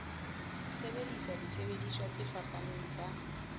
sebedisa disebediswa tse fapaneng tsa